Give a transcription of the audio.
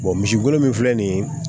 misi golo min filɛ nin ye